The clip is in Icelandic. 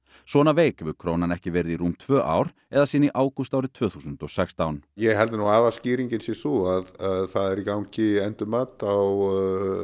svona veik hefur krónan ekki verið í rúm tvö ár eða síðan í ágúst árið tvö þúsund og sextán ég held að aðalskýringin sé sú að það er í gangi endurmat á